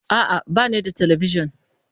A'a, ba ni da Talabijin.